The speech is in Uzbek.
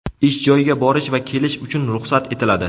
ish joyiga borish va kelish uchun ruxsat etiladi.